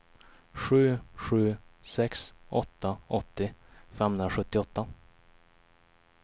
sju sju sex åtta åttio femhundrasjuttioåtta